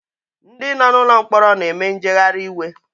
Ndi no nụlọ mkpọrọ na-eme njeghari iwe